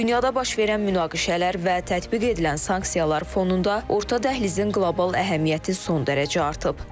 Dünyada baş verən münaqişələr və tətbiq edilən sanksiyalar fonunda orta dəhlizin qlobal əhəmiyyəti son dərəcə artıb.